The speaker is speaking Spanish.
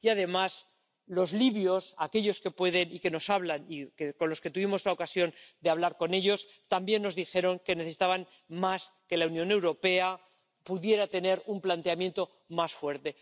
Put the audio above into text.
Y, además, los libios, aquellos que pueden y que nos hablan y con los que tuvimos la ocasión de hablar, también nos dijeron que necesitaban que la Unión Europea pudiera tener un planteamiento más fuerte